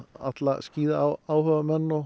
alla